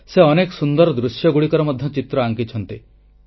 ସେ ଅନେକ ସୁନ୍ଦର ଦୃଶ୍ୟଗୁଡିକର ଚିତ୍ର ମଧ୍ୟ ଆଙ୍କିଛନ୍ତି